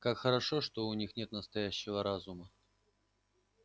как хорошо что у них нет настоящего разума